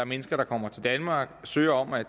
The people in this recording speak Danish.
mennesker der kommer til danmark og søger om at